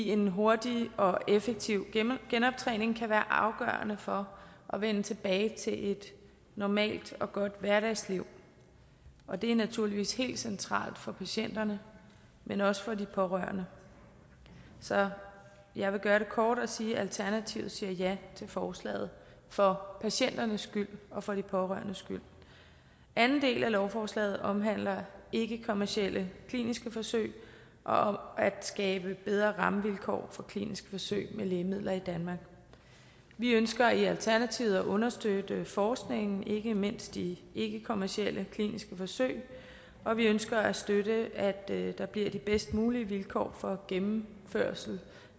en hurtig og effektiv genoptræning kan være afgørende for at vende tilbage til et normalt og godt hverdagsliv og det er naturligvis helt centralt for patienterne men også for de pårørende så jeg vil gøre det kort og sige at alternativet siger ja til forslaget for patienternes skyld og for de pårørendes skyld anden del af lovforslaget omhandler ikkekommercielle kliniske forsøg og om at skabe bedre rammevilkår for kliniske forsøg med lægemidler i danmark vi ønsker i alternativet at understøtte forskningen ikke mindst i ikkekommercielle kliniske forsøg og vi ønsker at støtte at der bliver de bedst mulige vilkår for gennemførelse